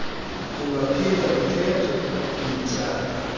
ungaphinda ukhethe ukuyityala